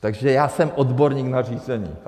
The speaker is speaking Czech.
Takže já jsem odborník na řízení.